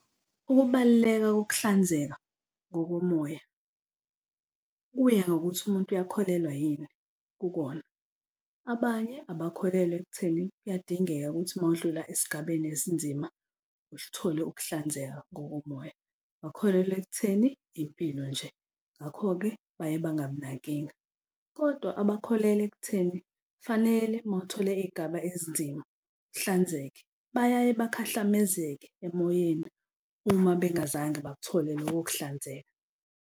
Ukubaluleka kukuhlanzeka kokomoya kuya ngokuthi umuntu uyakholelwa yini kukona. Abanye abakholelwa ekutheni kuyadingeka ukuthi uma udlula esigabeni esinzima, usithole ukuhlanzeka ngokomoya, bakholelwa ekutheni impilo nje. Ngakho-ke bayebangabi nankinga kodwa abakholelwa ekutheni kufanele uma uthole izigaba ezinzima, uhlanzeke bayayebakhahlamezeke emoyeni uma bengazange bakuthole loko kuhlanzeka.